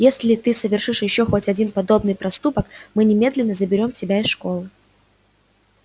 если ты совершишь ещё хоть один подобный проступок мы немедленно заберём тебя из школы